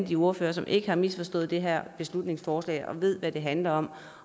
de ordførere som ikke har misforstået det her beslutningsforslag og ved hvad det handler om